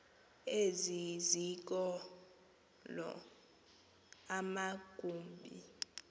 ezi zikolo amagumbi